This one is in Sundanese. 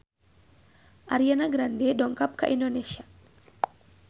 Ariana Grande dongkap ka Indonesia